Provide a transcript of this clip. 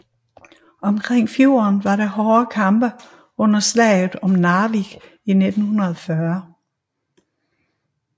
Omkring fjorden var der hårde kampe under slaget om Narvik i 1940